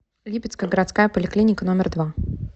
липецкая городская поликлиника номер два